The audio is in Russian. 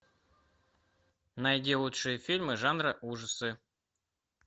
найди лучшие фильмы жанра ужасы